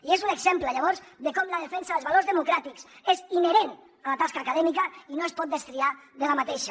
i és un exemple llavors de com la defensa dels valors democràtics és inherent a la tasca acadèmica i no es pot destriar d’aquesta